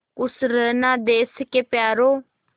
खुश रहना देश के प्यारों